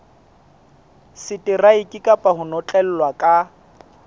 seteraeke kapa ho notlellwa ka